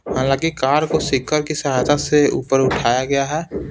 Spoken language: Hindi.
हालांकि कार को सीकर के सहायता से ऊपर उठाया गया है।